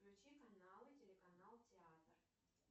включи каналы телеканал театр